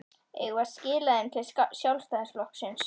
Eigum við að skila þeim til Sjálfstæðisflokksins?